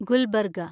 Gulbarga